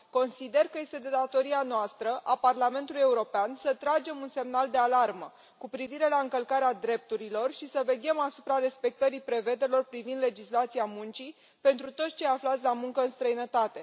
Consider că este de datoria noastră, a Parlamentului European, să tragem un semnal de alarmă cu privire la încălcarea drepturilor și să veghem asupra respectării prevederilor privind legislația muncii pentru toți cei aflați la muncă în străinătate.